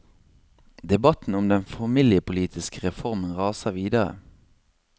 Debatten om den familiepolitiske reformen raser videre.